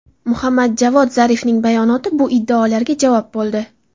Muhammad Javod Zarifning bayonoti bu iddaolarga javob bo‘ldi.